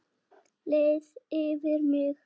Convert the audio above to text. Leið yfir mig?